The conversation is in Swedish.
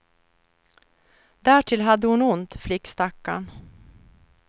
Därtill hade hon ont, flickstackarn.